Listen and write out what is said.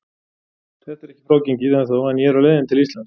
Þetta er ekki frágengið ennþá en ég er á leiðinni til Íslands.